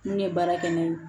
N'u ye baara kɛ n'a ye